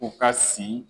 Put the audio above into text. U ka si